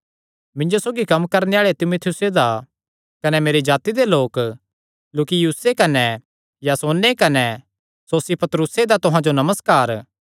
मिन्जो सौगी कम्म करणे आल़े तीमुथियुसे दा कने मेरे जाति दे लोक लूकियुसे कने यासोने कने सोसिपत्रुसे दा तुहां जो नमस्कार